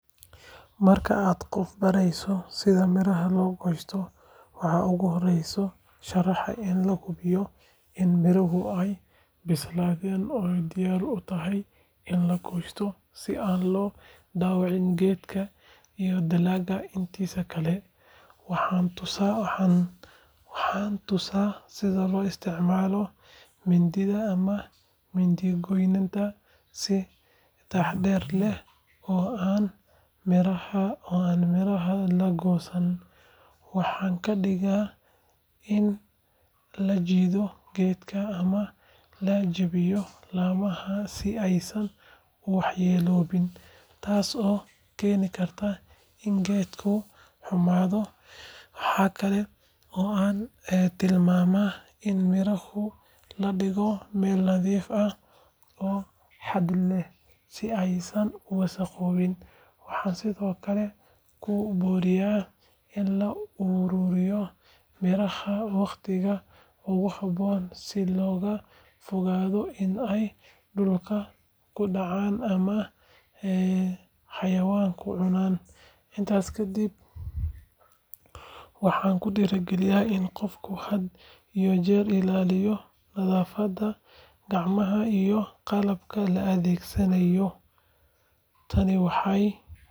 Marka aan qof barayo sida miraha loo goosto, waxaan ugu horreyn sharaxaa in la hubiyo in miraha ay bislaatay oo diyaar u tahay in la goosto si aan loo dhaawacin geedka iyo dalagga intiisa kale. Waxaan tusaa sida loo isticmaalo mindida ama mindi-goynta si taxaddar leh oo aan miraha la goosan. Waxaan ka digaa in la jiido geedka ama la jabiyo laamaha si aysan u waxyeelloobin, taasoo keeni karta in geedku xumaado. Waxa kale oo aan tilmaamaa in miraha la dhigo meel nadiif ah oo hadh leh, si aysan u wasakhoobin. Waxaan sidoo kale ku boorinayaa in la ururiyo miraha wakhtiga ugu habboon si looga fogaado in ay dhulka ku dhacaan ama xayawaanku cunaan. Intaa kadib, waxaan ku dhiirrigeliyaa in qofku had iyo jeer ilaalinayo nadaafadda gacmaha iyo qalabka la adeegsanayo. Tani waxay.